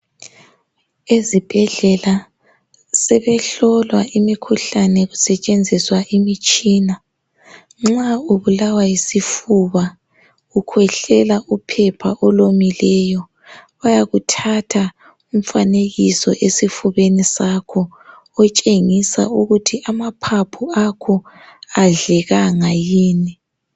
ezibhedlela sebehlolwa imikhuhlane kusetshenziswa imitshina nxa ubulawa yisifuba ukhwehlela uphepha olomileyo bayakuthatha umfanekiso esifubeni sakho otshengisa ukuthi amaphaphu akho adlekanga yini